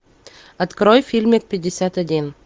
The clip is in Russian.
открой фильмик пятьдесят один